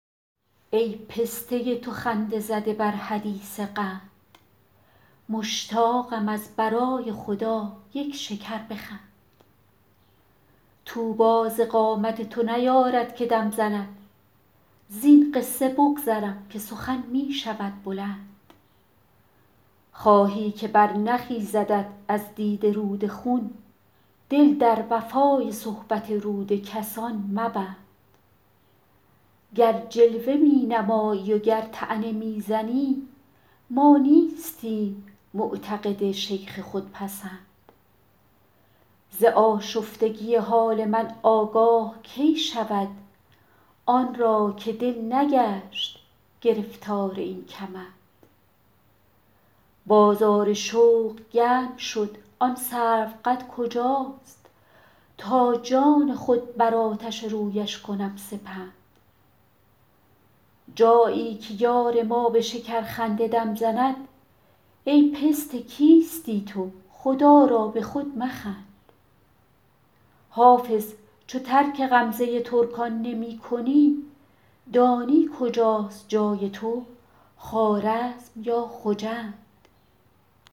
ای پسته تو خنده زده بر حدیث قند مشتاقم از برای خدا یک شکر بخند طوبی ز قامت تو نیارد که دم زند زین قصه بگذرم که سخن می شود بلند خواهی که برنخیزدت از دیده رود خون دل در وفای صحبت رود کسان مبند گر جلوه می نمایی و گر طعنه می زنی ما نیستیم معتقد شیخ خودپسند ز آشفتگی حال من آگاه کی شود آن را که دل نگشت گرفتار این کمند بازار شوق گرم شد آن سروقد کجاست تا جان خود بر آتش رویش کنم سپند جایی که یار ما به شکرخنده دم زند ای پسته کیستی تو خدا را به خود مخند حافظ چو ترک غمزه ترکان نمی کنی دانی کجاست جای تو خوارزم یا خجند